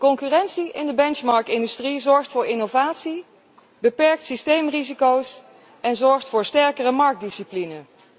Concurrentie in de benchmark industrie zorgt voor innovatie, beperkt systeemrisico's en zorgt voor sterkere marktdiscipline.